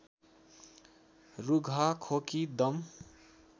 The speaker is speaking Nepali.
रुघा खोकी दम